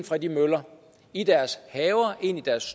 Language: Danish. fra de møller i deres haver ind i deres